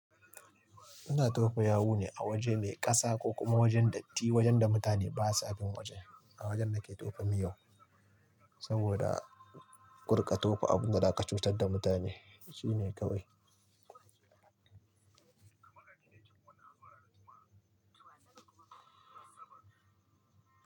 Suna tofa yawu ne a waje mai kasa ko kuma wajen datti wajen da mutane basa bin wajen. A wajen nake tofi miyo saboda gudun tofa abun da ka cutar da mutane shine ka wai.